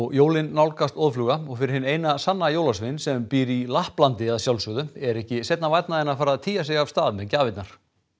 jólin nálgast óðfluga og fyrir hinn eina sanna jólasvein sem býr í Lapplandi að sjálfsögðu er ekki seinna vænna að fara að tygja sig af stað með gjafirnar